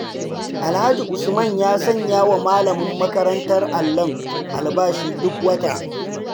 Alhaji Usman ya sanyawa malamin makarantar allon albashi duk wata.